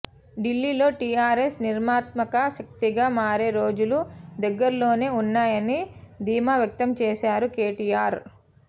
ఢిల్లీలో టీఆర్ఎస్ నిర్ణయాత్మక శక్తిగా మారే రోజులు దగ్గర్లోనే ఉన్నాయని ధీమావ్యక్తం చేశారు కేటీఆర్